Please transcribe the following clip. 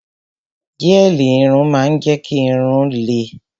Gẹ́ẹ̀lì irun máa ń jẹ́ kí irun-ún lẹ